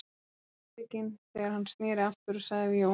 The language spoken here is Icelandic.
Hann var íbygginn þegar hann sneri aftur og sagði við Jón